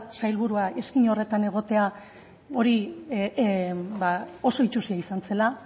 sailburua izkina horretan egotea hori ba oso itsusia izan zela